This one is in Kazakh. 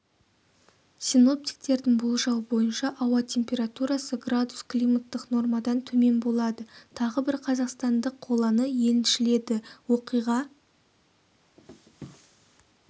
синоптиктердің болжауы бойынша ауа температурасы градус климаттық нормадан төмен болады тағы бір қазақстандық қоланы еншіледі оқиға